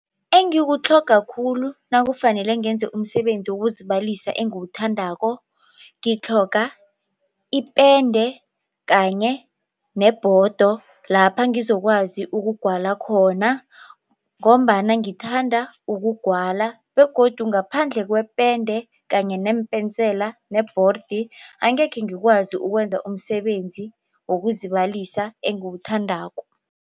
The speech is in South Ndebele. Engikutlhoga khulu nakufanele ngenze umsebenzi wokuzibalisa engiwuthandako ngitlhoga ipende kanye nebhodo lapha ngizokwazi ukugwala khona ngombana ngithanda ukugwala begodu ngaphandle kwepende kanye neempensela nebhordi angekhe ngikwazi ukwenza umsebenzi wokuzibalisa enguwuthandako.